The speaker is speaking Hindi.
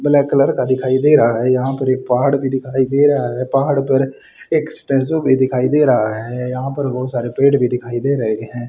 ब्लैक कलर का दिखाई दे रहा है यहां पर एक पहाड़ भी दिखाई दे रहा है पहाड़ पर एक भी दिखाई दे रहा है यहां पर बहुत सारे पेड़ भी दिखाई दे रहे हैं।